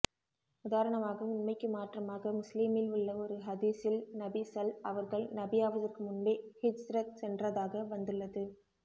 உதாரணமாக உண்மைக்கு மாற்றமாக முஸ்லீமில் உள்ள ஒரு ஹதீஸில் நபி ஸல் அவர்கள் நபியாவதற்க்கு முன்பே ஹிஜ்ரத் சென்றாதாக வந்துள்ளது